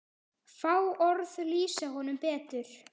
Fá orð lýsa honum betur.